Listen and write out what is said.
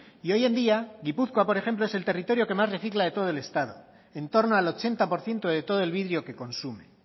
y hoy en día gipuzkoa por ejemplo es el territorio que más recicla de todo el estado en torno al ochenta por ciento de todo el vidrio que consume